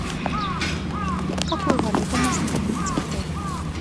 какую валюту можно поменять в отеле